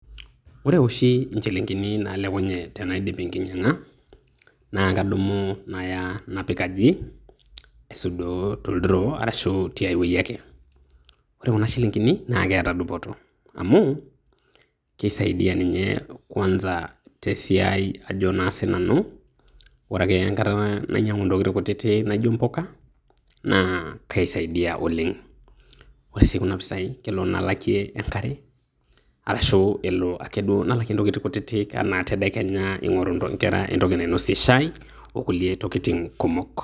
woore oshi injilingilini nalekunyie tenaidip enkinyang'a nakadumu naaya napiik aji aisudoo toldiroo arashu tiaii wueji ake. Woore kuna shilingini naketaa duppoto amu kisaidia ninye kwanza tesiai ajo naa sii nanu woore painyangu ntokiting kutiti naijio mpukanaa kaisaidia oleng .Woore sii kuna pisai naa keyaa nalakie enkare arashu alakie ntokiting nawokie nkera shai arashu nkulie tokiting' kumok